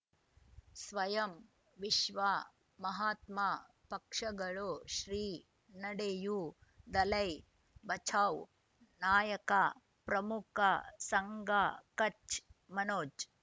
ಸ್ವಯಂ ವಿಶ್ವ ಮಹಾತ್ಮ ಪಕ್ಷಗಳು ಶ್ರೀ ನಡೆಯೂ ದಲೈ ಬಚೌ ನಾಯಕ ಪ್ರಮುಖ ಸಂಘ ಕಚ್ ಮನೋಜ್